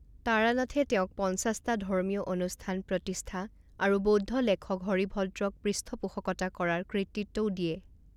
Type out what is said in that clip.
তাৰানাথে তেওঁক পঞ্চাছটা ধৰ্মীয় অনুষ্ঠান প্ৰতিষ্ঠা আৰু বৌদ্ধ লেখক হৰিভদ্ৰক পৃষ্ঠপোষকতা কৰাৰ কৃতিত্বও দিয়ে।